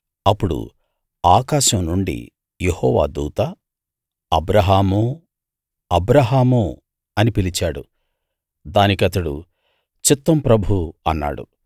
అప్పుడు ఆకాశం నుండి యెహోవా దూత అబ్రాహామూ అబ్రాహామూ అని పిలిచాడు దానికతడు చిత్తం ప్రభూ అన్నాడు